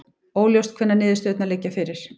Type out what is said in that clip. Óljóst hvenær niðurstöðurnar liggja fyrir